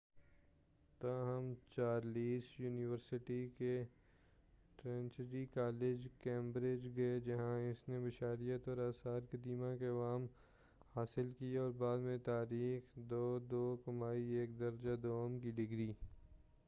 تاہم Charles university کے Trinity College, Cambridge, گئے جہاں اس نے بشریات اور آثار قدیمہ کے علوم حاصل کئے اور بعد میں تاریخ، 2:2 کمائی ایک درجہ دوم کی ڈگری۔